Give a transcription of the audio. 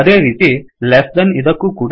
ಅದೇ ರೀತಿ less than ಇದಕ್ಕೂ ಕೂಡ